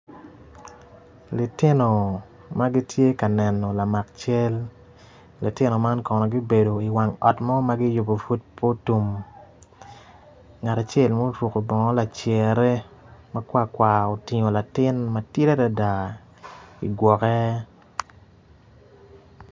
Litino magitye ka neno lamak cal litino man kono gibedo i wang ot mo magiyubo pud pe otum ngat acel ma oruko bonog lacere makwar kwar otingo latin matidi adada igwoke.